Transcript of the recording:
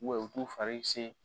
U bɛ u t'u fari se